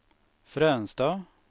Fränsta